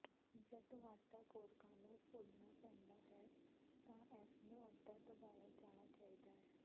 ਜਦੋਂ ਆਟਾ ਕੋਰਕਾਂ ਨੂੰ ਭੁੰਨਣਾ ਪੈਂਦਾ ਹੈ ਤਾਂ ਇਸ ਨੂੰ ਅੱਧਾ ਦਬਾਇਆ ਜਾਣਾ ਚਾਹੀਦਾ ਹੈ